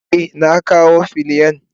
Eh na kawo filiyan.